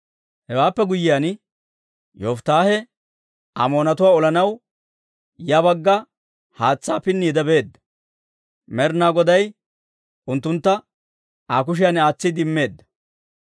Hewaappe guyyiyaan, Yofittaahee Amoonatuwaa olanaw ya bagga haatsaa pinniide beedda; Med'inaa Goday unttuntta Aa kushiyan aatsiide immeedda.